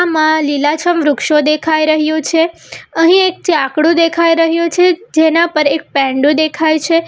માં લીલાછમ વૃક્ષો દેખાય રહ્યું છે અહીં એક ચાકડુ દેખાય રહ્યું છે જેના પર એક પૈંડો દેખાય છે.